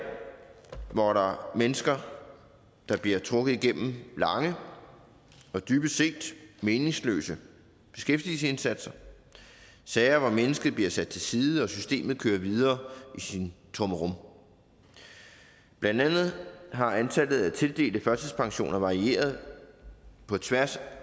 hvor der er mennesker der bliver trukket igennem lange og dybest set meningsløse beskæftigelsesindsatser sager hvor mennesket bliver sat til side og systemet kører videre i sin trummerum blandt andet har antallet af tildelte førtidspensioner varieret på tværs